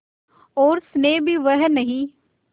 और स्नेह भी वह नहीं